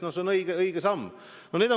No see on õige samm!